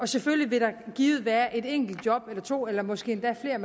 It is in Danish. selvfølgelig givet være et enkelt job eller to eller måske endda flere